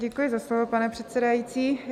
Děkuji za slovo, pane předsedající.